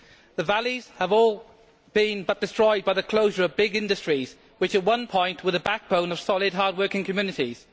The Valleys have all but been destroyed by the closure of big industries which, at one point, were the backbone of solid hardworking communities.